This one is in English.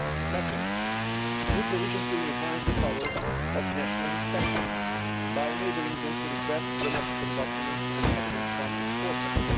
Second, new provisions will enhance the powers of national inspectors by enabling them to request the necessary documents and evidence from exporters.